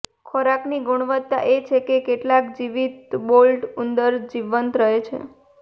ખોરાકની ગુણવત્તા એ છે કે કેટલા જીવિત બાલ્ડ ઉંદરો જીવંત રહે છે